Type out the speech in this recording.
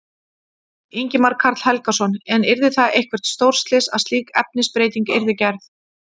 Ingimar Karl Helgason: En yrði það eitthvert stórslys að slík efnisbreyting yrði gerð?